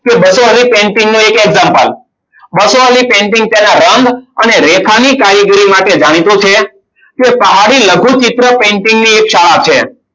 કે બસો વાળી painting નું એક example બસો વાળી painting તેના રંગ અને રેખાની કારીગરી માટે જાણીતું છે. તે પહાડી લઘુચિત્ર painting ની એક શાળા છે.